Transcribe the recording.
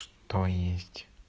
то есть